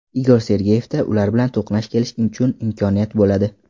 Igor Sergeyevda ular bilan to‘qnash kelishi uchun imkoniyat bo‘ladi.